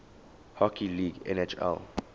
hockey league nhl